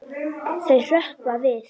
Þau hrökkva við.